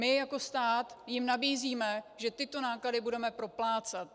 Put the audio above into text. My jako stát jim nabízíme, že tyto náklady budeme proplácet.